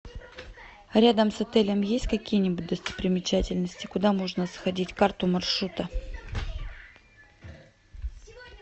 рядом с отелем есть какие нибудь достопримечательности куда можно сходить карту маршрута